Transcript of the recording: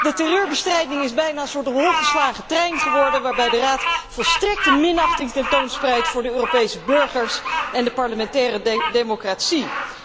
De terreurbestrijding is bijna een soort op hol geslagen trein geworden, waarbij de Raad volstrekte minachting tentoonspreidt voor de Europese burgers en de parlementaire democratie.